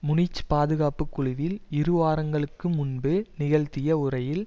Munich பாதுகாப்பு குழுவில் இரு வாரங்களுக்கு முன்பு நிகழ்த்திய உரையில்